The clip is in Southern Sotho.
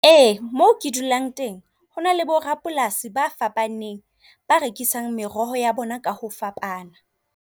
Ee mo ke dulang teng. Hona le bo rapolasi ba fapaneng ba rekisang meroho ya bona ka ho fapana.